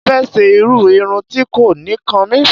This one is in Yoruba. Mo fẹ́ ṣe irú irun tí kò ní kan mí.